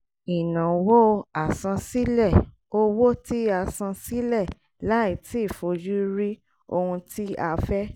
ìnáwó àsansílẹ̀: owó tí a san sílẹ̀ láì tí fojú rí ohun tí a fẹ́